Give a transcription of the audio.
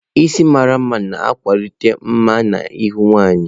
Isi mara mma na-agbakwunye mma na ihu nwanyị.